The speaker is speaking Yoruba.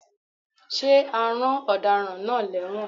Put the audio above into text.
Ṣé a rán Ọ̀daràn náà lẹ́wọ̀n?